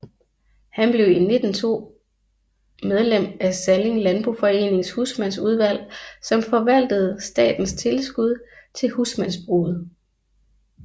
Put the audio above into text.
Han blev i 1902 medlem af Salling Landboforenings husmandsudvalg som forvaltede statens tilskud til husmandsbruget